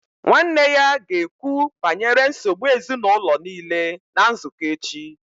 Nwanne ya ga-ekwu banyere nsogbu ezinụlọ niile na nzukọ echi